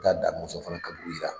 Damɔzɔn fana ka i la